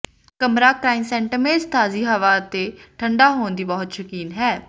ਕਮਰਾ ਕ੍ਰਾਇਸੈਂਟੇਮਮਜ਼ ਤਾਜ਼ੀ ਹਵਾ ਅਤੇ ਠੰਢਾ ਹੋਣ ਦੀ ਬਹੁਤ ਸ਼ੌਕੀਨ ਹੈ